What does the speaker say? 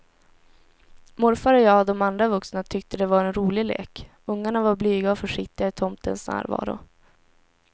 Morfar och jag och de andra vuxna tyckte det var en rolig lek, ungarna var blyga och försiktiga i tomtens närvaro.